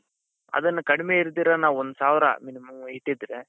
ಅದನ್ನ ಕಡಿಮೆ ಇರ್ದೀರಾ ನಾವು ಒಂದು ಸಾವಿರ ಇಟ್ಟಿದ್ರೆ.